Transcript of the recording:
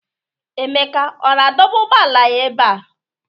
Emeka ọ na-adọba ụgbọala ya ebe a?